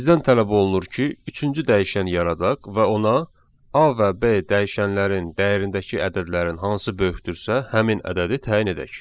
Bizdən tələb olunur ki, üçüncü dəyişən yaradaq və ona A və B dəyişənlərin dəyərindəki ədədlərin hansı böyükdürsə, həmin ədədi təyin edək.